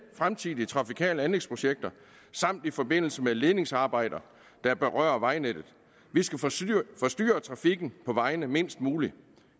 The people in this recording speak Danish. fremtidige trafikale anlægsprojekter samt i forbindelse med ledningsarbejder der berører vejnettet vi skal forstyrre forstyrre trafikken på vejene mindst muligt